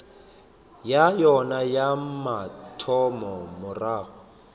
ya yona ya mathomo morago